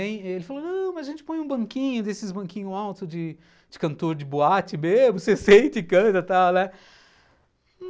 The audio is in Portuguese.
Em, ele falou, não, mas a gente põe um banquinho desses banquinhos altos de de cantor de boate mesmo, você senta e canta e tal, né?